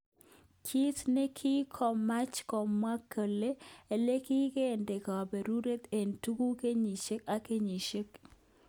Kit nekikoemech kemwoe kele, elekikende kobure ngo' tutik kenyishek ak kenyishek.